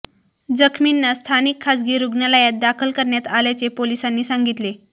जखमींना स्थानिक खासगी रूग्णालयात दाखल करण्यात आल्याचे पोलिसांनी सांगितले